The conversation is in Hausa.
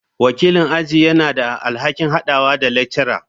Wakilin aji yana da alhakin haɗawa da lecturer.